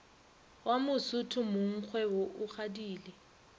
wa mosotho mongkgwebo o kgadile